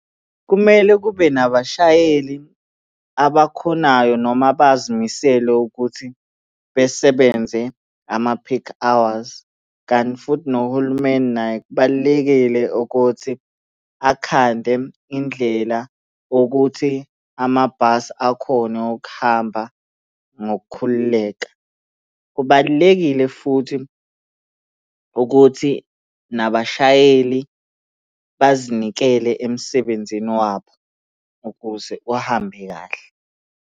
Kumele kube nabashayeli abakhonayo noma abazimisele ukuthi besebenze ama-peak hours, kanti futhi nohulumeni naye kubalulekile ukuthi akhande indlela yokuthi amabhasi akhone ukuhamba ngokukhululeka. Kubalulekile futhi ukuthi nabashayeli bazinikele emsebenzini wabo ukuze uhambe kahle.